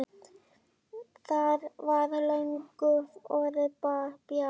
Það var löngu orðið bjart.